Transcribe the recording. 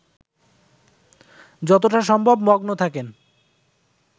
যতটা সম্ভব মগ্ন থাকেন